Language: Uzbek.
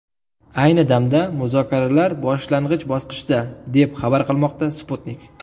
Ayni damda muzokaralar boshlang‘ich bosqichda, deb xabar qilmoqda Sputnik.